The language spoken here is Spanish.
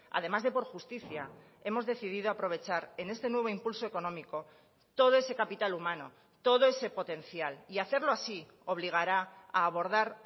además de por justicia hemos decidido aprovechar en este nuevo impulso económico todo ese capital humano todo ese potencial y hacerlo así obligará a abordar